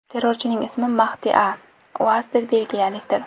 Terrorchining ismi Mahdi A. U asli belgiyalikdir.